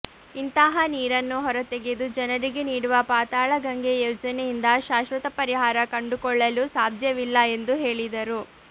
ಇಂತಹ ನೀರನ್ನು ಹೊರತೆಗೆದು ಜನರಿಗೆ ನೀಡುವ ಪಾತಾಳಗಂಗೆ ಯೋಜನೆಯಿಂದ ಶಾಶ್ವತ ಪರಿಹಾರ ಕಂಡುಕೊಳ್ಳಲು ಸಾಧ್ಯವಿಲ್ಲ ಎಂದು ಹೇಳಿದರು